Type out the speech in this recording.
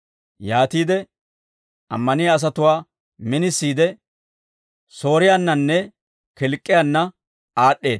Yaatiide ammaniyaa asatuwaa minisiide, Sooriyaannanne Kilk'k'iyaanna aad'd'eedda. Pawuloosa Laa'entso Ogiyaa